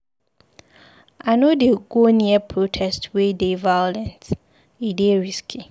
I no dey go near protest wey dey violent, e dey risky.